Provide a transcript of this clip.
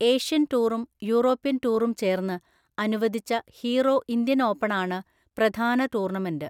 Asian ടൂറും European ടൂറും ചേർന്ന് അനുവദിച്ച ഹീറോ ഇന്ത്യൻ ഓപ്പണാണ് പ്രധാന ടൂർണമെന്റ്.